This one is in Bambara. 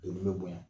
Doni bɛ bonya